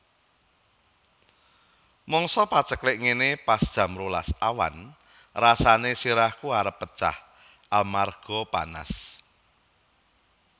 Mangsa paceklik ngene pas jam rolas awan rasane sirahku arep pecah amarga panas